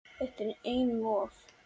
Þetta er einum of,